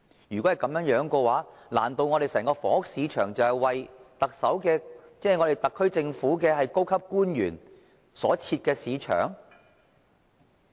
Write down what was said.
如果是這樣，難道我們整個房屋市場，僅僅是為特區政府的高級官員所設？